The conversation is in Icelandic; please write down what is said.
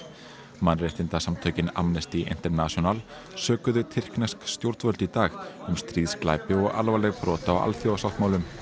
mannréttindasamtökin Amnesty International sökuðu tyrknesk stjórnvöld í dag um stríðsglæpi og alvarleg brot á alþjóðasáttmálum